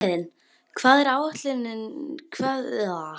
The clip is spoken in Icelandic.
Bjarnhéðinn, hvað er á áætluninni minni í dag?